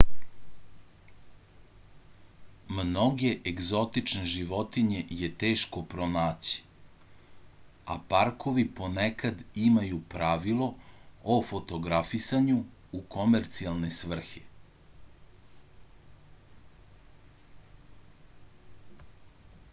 mnoge egzotične životinje je teško pronaći a parkovi ponekad imaju pravila o fotografisanju u komercijalne svrhe